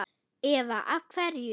Eva: Af hverju?